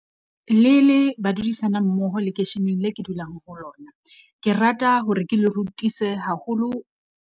Le le badudisana mmoho lekeisheneng leo ke dulang ho lona, ke rata hore ke le rutise haholo.